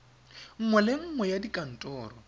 nngwe le nngwe ya dikantoro